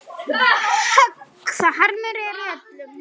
Högg það harmur er öllum.